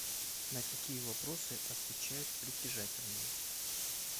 на какие вопросы отвечают притяжательные